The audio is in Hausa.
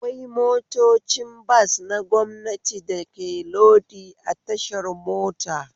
Akwai motocin bas na gwamnati da ke lodi a tashar mota